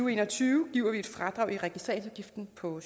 og en og tyve giver vi et fradrag i registreringsafgiften på